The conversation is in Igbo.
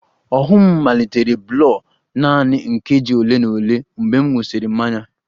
Ọhụụ m malitere blur nanị nkeji ole na ole mgbe m ṅụsịrị mmanya